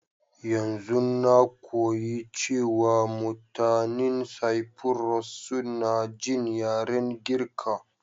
Yanzun na koyi cewa mutanin Cyprus suna jin yaren Girka.